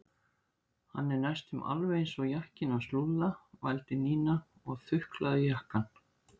Hann er næstum alveg eins og jakkinn hans Lúlla vældi Nína og þuklaði jakkann.